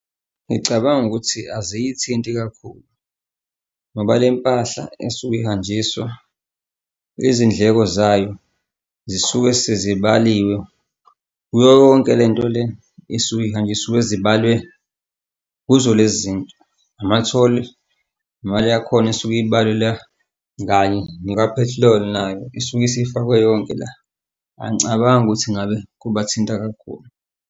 Ngicabanga ukuthi aziyithinta kakhulu, ngoba le mpahla esuke ihanjiswa izindleko zayo zisuke sezibaliwe kuyo yonke le nto le isuke ihanjiswa isuke zibalwe kuzo lezi nto. Ama-toll imali yakhona isuke ibalela kanye nekaphethiloli nayo isuke isifakwe yonke la. Angicabangi ukuthi ngabe kubathinta kakhulu.